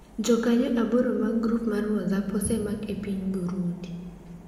jokanyo aboro mag grup mar WhatsApp osemak e piny Burundi